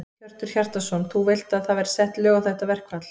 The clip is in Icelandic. Hjörtur Hjartarson: Þú vilt að það verði sett lög á þetta verkfall?